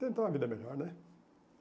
Tentar uma vida melhor, né?